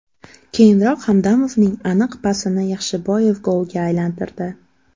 Keyinroq Hamdamovning aniq pasini Yaxshiboyev golga aylantirdi.